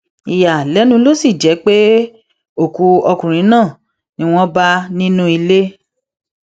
ìyàlẹnu ló sì jẹ pé òkú ọkùnrin náà ni wọn bá nínú ilé